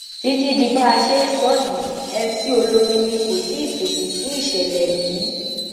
títí di bá a ṣe ń sọ yìí mc olomini kò tíì fèsì sí ìṣẹlẹ yìí